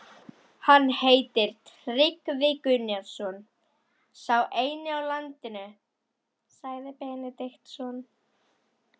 Hann heitir Tryggvi Gunnarsson, sá eini á landinu, sagði Benediktsson.